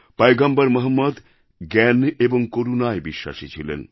পয়গম্বর মহম্মদ জ্ঞান এবং করুণায় বিশ্বাসী ছিলেন